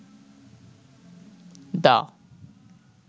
দা